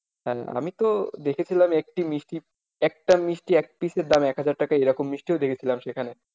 হ্যাঁ আমি তো দেখেছিলাম একটি মিষ্টি একটা মিষ্টি এক piece এর দাম এক হাজার টাকা এইরকম মিষ্টিও দেখেছিলাম সেখানে।